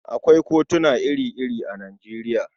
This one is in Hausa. Akwai kutuna ire-ire a Nijeriya.